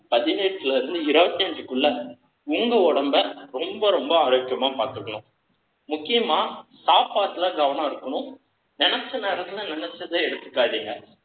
பதினெட்டுல இருந்து இருபத்தி அஞ்சுக்குள்ள, உங்க உடம்பை, ரொம்ப, ரொம்ப ஆரோக்கியமா பார்த்துக்கணும். முக்கியமா, சாப்பாட்டுல கவனம் இருக்கணும். நினைச்ச நேரத்துல, நினைச்சதை எடுத்துக்காதீங்க.